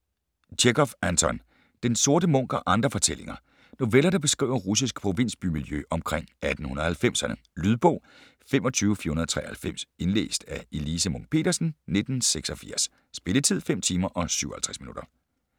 Tjechov, Anton: Den sorte munk og andre fortællinger Noveller, der beskriver russisk provinsbymiljø omkring 1890'erne. Lydbog 25493 Indlæst af Elise Munch-Petersen, 1986. Spilletid: 5 timer, 57 minutter.